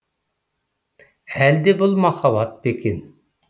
әлде бұл махаббат па екен